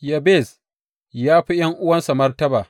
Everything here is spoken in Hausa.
Yabez ya fi ’yan’uwansa martaba.